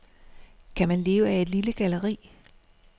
Kan man leve af et lille galleri?